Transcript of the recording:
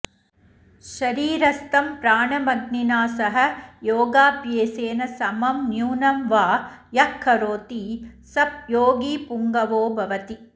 शरीरस्थं प्राणमग्निना सह योगाभ्यासेन समं न्यूनं वा यः करोति स योगिपुङ्गवो भवति